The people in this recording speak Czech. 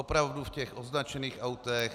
Opravdu v těch označených autech.